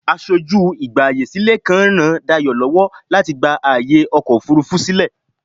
Aṣojú ìgbààyèsílẹ̀ kan ń ràn Dayọ̀ lọ́wọ́ láti gba ààyè ọkọ̀ òfurufú sílẹ̀.